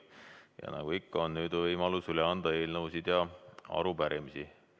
Ja nagu ikka, on nüüd võimalus üle anda eelnõusid ja arupärimisi.